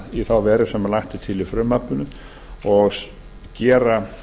í þá veru sem lagt er til í frumvarpinu og gera